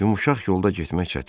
Yumşaq yolda getmək çətindir.